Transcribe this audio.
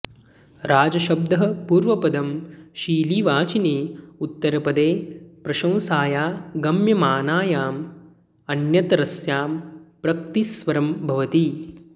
राजशब्दः पूर्वपदं शिलिवाचिनि उत्तरपदे प्रशंसायां गम्यमानायाम् अन्यतरस्यां प्रक्र्तिस्वरं भवति